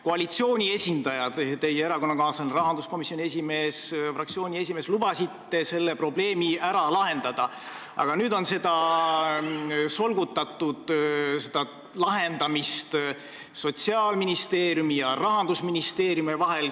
Koalitsiooni esindaja, teie erakonnakaaslane rahanduskomisjoni esimees ja ka fraktsiooni esimees lubasid selle probleemi ära lahendada, aga nüüd on seda lahendamist solgutatud Sotsiaalministeeriumi ja Rahandusministeeriumi vahel.